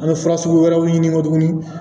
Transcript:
An bɛ fura sugu wɛrɛw ɲini tuguni